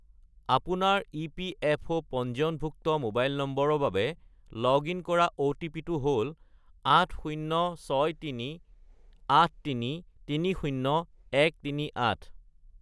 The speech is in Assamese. আপোনাৰ ইপিএফঅ' পঞ্জীয়নভুক্ত মোবাইল নম্বৰৰ বাবে লগ-ইন কৰা অ’টিপি-টো হ'ল 80638330138